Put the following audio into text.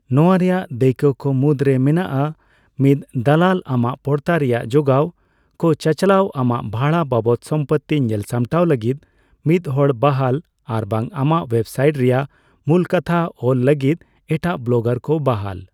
ᱱᱚᱣᱟ ᱨᱮᱭᱟᱜ ᱫᱟᱹᱭᱠᱟᱹ ᱠᱚ ᱢᱩᱫᱽᱨᱮ ᱢᱮᱱᱟᱜᱼᱟ ᱢᱤᱫ ᱫᱟᱞᱟᱞ ᱟᱢᱟᱜ ᱯᱚᱲᱛᱟ ᱨᱮᱭᱟᱜ ᱡᱚᱜᱟᱣ ᱠᱚ ᱪᱟᱪᱞᱟᱣ, ᱟᱢᱟᱜ ᱵᱷᱟᱲᱟ ᱵᱟᱵᱚᱛ ᱥᱚᱢᱯᱚᱛᱛᱤ ᱧᱮᱞᱥᱟᱢᱴᱟᱣ ᱞᱟᱹᱜᱤᱫ ᱢᱤᱫ ᱦᱚᱲ ᱵᱟᱦᱟᱞ ᱟᱨᱵᱟᱝ ᱟᱢᱟᱜ ᱳᱭᱮᱵᱽᱥᱟᱭᱤᱴ ᱨᱮᱭᱟᱜ ᱢᱩᱞᱠᱟᱛᱷᱟ ᱚᱞ ᱞᱟᱹᱜᱤᱫ ᱮᱴᱟᱜ ᱵᱞᱚᱜᱟᱨ ᱠᱚ ᱵᱟᱦᱟᱞ ᱾